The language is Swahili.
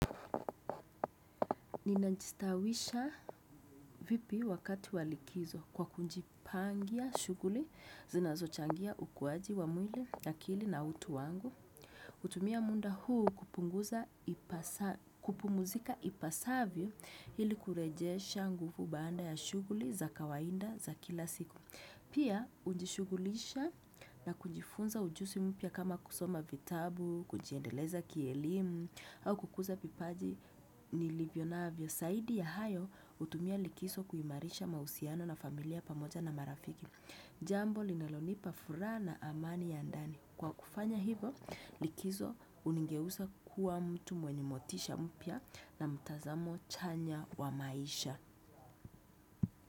Ninajistawisha vipi wakati walikizo kwa kunjipangia shughuli zinazo changia ukuaji wa mwili akili na utu wangu. Utumia munda huu kupumuzika ipasavyo ili kurejesha nguvu baanda ya shughuli za kawaida za kila siku. Pia, ujishugulisha na kujifunza ujusi mpia kama kusoma vitabu, kujiendeleza kielimu, au kukuza vipaji nilivyo navyo. Saidi ya hayo, utumia likiso kuimarisha mahusiano na familia pamoja na marafiki. Jambo, linalonipa furaha na amani ya ndani. Kwa kufanya hivo, likizo unigeusa kuwa mtu mwenye motisha mpia na mtazamo chanya wa maisha.